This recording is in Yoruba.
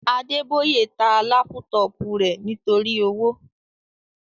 Adeboye ta lápútọ̀pù rẹ̀ nítorí owó